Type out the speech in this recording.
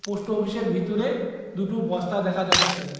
Post অফিসের ভিতরে দুটো বস্তা দেখা যাচ্ছে।